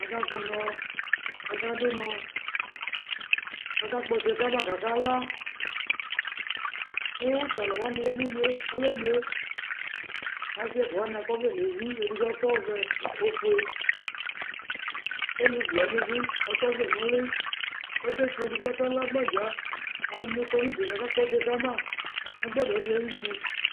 Aka kpʋnɔ, kʋ akadu ʋnɔ, kʋ akakpɔ ɔtsɛ kama, kʋ akala Kʋ atalu wani ya nʋ inye ayemli yɛ Ɔsɩ ɛfʋa wani akɔ ɔvlɛ nʋ evi Edigbo akɔ ɔvɛ, ofue Kʋ alevi wani bɩ akɔ ɔvlɛ nʋ ʋlɩ Akefiodu, kʋ akala agbadza Alu ɛdɩnɩ kɔ nʋ udu yɛ, kʋ akakpɔ ɔtsɛ kama nʋ agbadɔ di ayuti